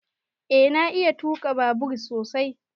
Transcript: Eh na iya tuka babur sosai.